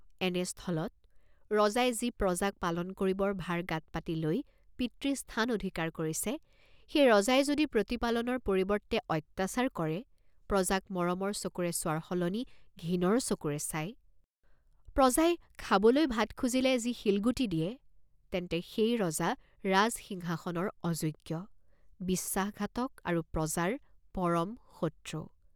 এনে স্থলত, ৰজাই যি প্ৰজাক পালন কৰিবৰ ভাৰ গাত পাতি লৈ পিতৃ স্থান অধিকাৰ কৰিছে, সেই ৰজাই যদি প্ৰতিপালনৰ পৰিৱৰ্ত্তে অত্যাচাৰ কৰে, প্ৰজাক মৰমৰ চকুৰে চোৱাৰ সলনি ঘিণৰ চকুৰে চায়, প্ৰজাই খাবলৈ ভাত খুজিলে যি শিলগুটি দিয়ে, তেন্তে সেই ৰজা ৰাজসিংহাসনৰ অযোগ্য, বিশ্বাসঘাতক আৰু প্ৰজাৰ পৰম শত্ৰু।